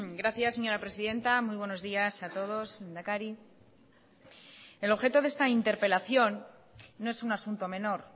gracias señora presidenta muy buenos días a todos lehendakari el objeto de esta interpelación no es un asunto menor